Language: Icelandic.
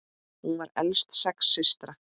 Hún var elst sex systra.